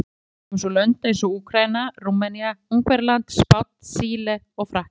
Í kjölfar þeirra komu svo lönd eins og Úkraína, Rúmenía, Ungverjaland, Spánn, Síle og Frakkland.